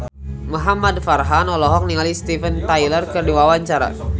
Muhamad Farhan olohok ningali Steven Tyler keur diwawancara